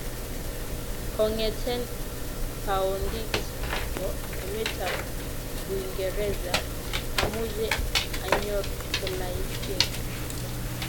Kong'eten paondit ne po emetab uingereza amuche anyor tolaisiek ata